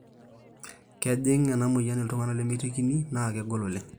kejing ena moyian iltunganak lemeitekini naa kegol oleng"